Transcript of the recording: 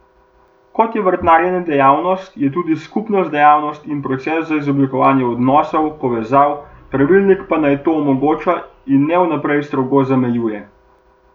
Kot je vrtnarjenje dejavnost, je tudi skupnost dejavnost in proces za izoblikovanje odnosov, povezav, pravilnik pa naj to omogoča in ne vnaprej strogo zamejuje.